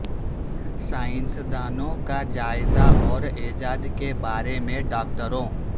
سائنسدانوں کا جائزہ اور ایجاد کے بارے میں ڈاکٹروں